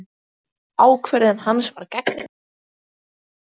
Ákvörðun hans var gagnrýnd, en gafst vel.